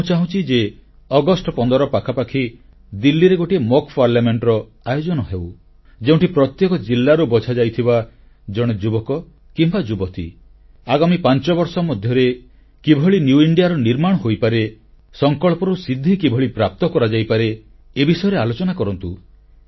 ମୁଁ ଚାହୁଁଛି ଏବଂ ପ୍ରସ୍ତାବ ଦେଉଛି ଯେ ଅଗଷ୍ଟ 15 ପାଖାପାଖି ଦିଲ୍ଲୀରେ ଗୋଟିଏ ଅଭ୍ୟାସ ସଂସଦର ଆୟୋଜନ ହେଉ ଯେଉଁଠି ଦେଶର ପ୍ରତ୍ୟେକ ଜିଲ୍ଲାରୁ ବଛାଯାଇଥିବା ଜଣେ ଯୁବକ କିମ୍ବା ଯୁବତୀ ଆଗାମୀ ପାଞ୍ଚ ବର୍ଷ ମଧ୍ୟରେ କିଭଳି ନୂଆ ଭାରତର ନିର୍ମାଣ ହୋଇପାରେ ସଂକଳ୍ପରୁ ସିଦ୍ଧି କିଭଳି ପ୍ରାପ୍ତ କରାଯାଇପାରେ ଏ ବିଷୟରେ ଆଲୋଚନା କରନ୍ତୁ